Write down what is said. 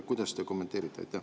Kuidas te kommenteerite?